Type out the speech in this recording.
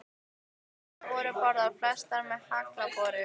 Fleiri holur voru boraðar, flestar með haglabor.